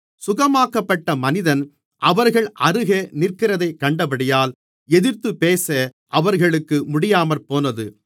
சுகமாக்கப்பட்ட மனிதன் அவர்கள் அருகே நிற்கிறதைக் கண்டபடியால் எதிர்த்துபேச அவர்களுக்கு முடியாமற்போனது